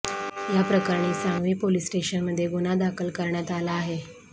याप्रकरणी सांगवी पोलीस स्टेशनमध्ये गुन्हा दाखल करण्यात आला आहे